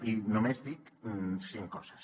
i només dic cinc coses